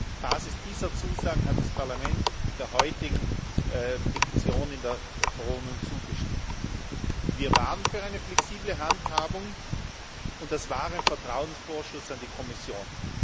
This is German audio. Und nur auf der Basis dieser Zusagen hat das Parlament der heutigen Diktion in der Verordnung zugestimmt. Wir waren für eine flexible Handhabung, und das war ein Vertrauensvorschuss an die Kommission.